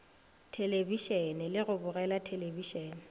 thelebišene le go bogela thelebišene